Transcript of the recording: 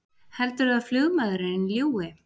Heldurðu að flugmaðurinn ljúgi!